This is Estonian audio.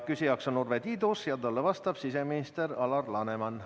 Küsija on Urve Tiidus ja talle vastab siseminister Alar Laneman.